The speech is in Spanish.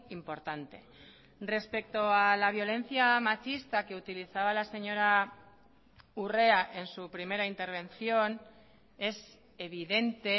importante respecto a la violencia machista que utilizaba la señora urrea en su primera intervención es evidente